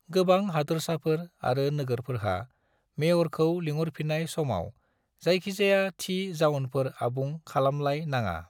गोबां हादोरसाफोर आरो नोगोरफोरहा मेयरखौ लिंहरफिन्नाय समाव जायखिजाया थि जाउनफोर आबुं खालामलाय नाङा।